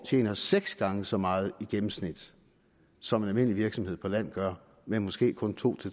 tjener seks gange så meget i gennemsnit som en almindelig virksomhed på land gør men måske kun to